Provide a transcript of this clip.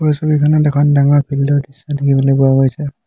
এই ছবিখনত এখন ডাঙৰ ফিল্ড ৰ দৃশ্য দেখিবলৈ পোৱা গৈছে।